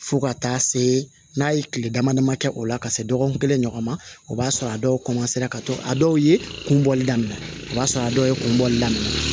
Fo ka taa se n'a ye kile dama dama kɛ o la ka se dɔgɔkun kelen ɲɔgɔn ma o b'a sɔrɔ a dɔw ka co a dɔw ye kun bɔli daminɛ o b'a sɔrɔ a dɔw ye kun bɔli daminɛ